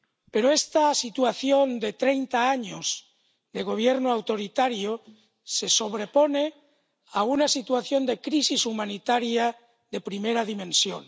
Pero esta situación de treinta años de Gobierno autoritario se sobrepone a una situación de crisis humanitaria de primera dimensión.